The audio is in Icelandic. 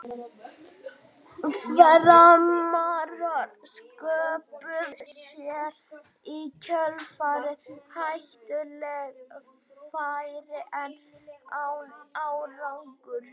Framarar sköpuðu sér í kjölfarið hættuleg færi en án árangurs.